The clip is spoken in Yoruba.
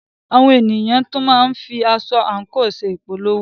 Àwọn ènìyàn tún máa ń fi aṣọ/àǹkò ṣe ìpolówó.